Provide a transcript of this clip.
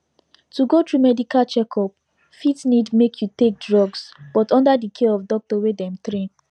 to go through medical checkup fit need make you take drugs but under the care of doctor wey them train